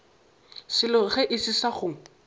selo ge e se go